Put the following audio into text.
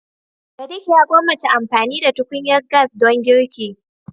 Sadiq ya gwammace amfani da tukunyar gas don girki.